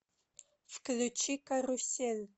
включи карусель